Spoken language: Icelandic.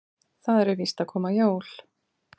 Það eru víst að koma jól.